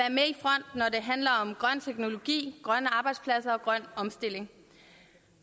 handler om grøn teknologi grønne arbejdspladser og grøn omstilling